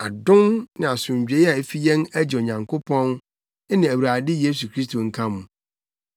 Adom ne asomdwoe a efi yɛn Agya Nyankopɔn ne Awurade Yesu Kristo nka mo.